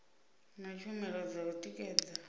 na tshumelo dza u tikedza